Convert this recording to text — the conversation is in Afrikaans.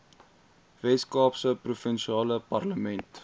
weskaapse provinsiale parlement